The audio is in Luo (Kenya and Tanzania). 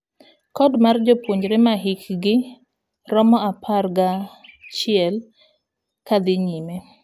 Code mar jopuonjre mahikgi romo apar gachiel kadhi nyime.